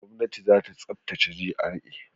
Gwamnati za ta tsaftace GRA.